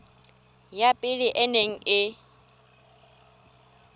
ya pele e neng e